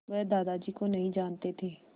वह दादाजी को नहीं जानते थे